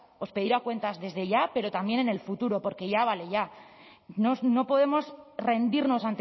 os pedirá cuentas desde ya pero también en el futuro porque ya vale ya no podemos rendirnos